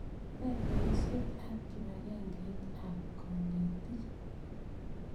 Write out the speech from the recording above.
Ne poisyet ap kipakengeit ap kanetik?